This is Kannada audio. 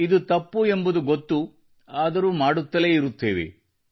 ಇದು ತಪ್ಪು ಎಂಬುದು ಗೊತ್ತು ಆದರೂ ಮಾಡ್ತಾನೇ ಇರುತ್ತೇವೆ